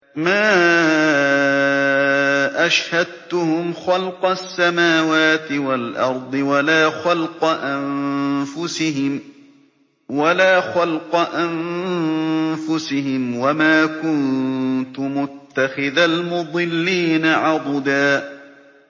۞ مَّا أَشْهَدتُّهُمْ خَلْقَ السَّمَاوَاتِ وَالْأَرْضِ وَلَا خَلْقَ أَنفُسِهِمْ وَمَا كُنتُ مُتَّخِذَ الْمُضِلِّينَ عَضُدًا